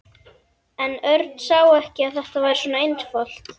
En Örn sá ekki að þetta væri svona einfalt.